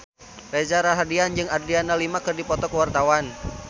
Reza Rahardian jeung Adriana Lima keur dipoto ku wartawan